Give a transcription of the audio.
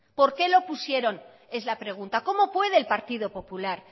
por qué lo pusieron es la pregunta cómo puede el partido popular